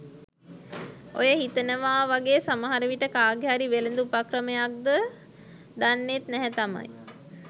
ඔය හිතනවාවගේ සමහරවිට කාගේ හරි වෙළඳ උපක්‍රමයක්ද දන්නෙත් නැහැ තමයි.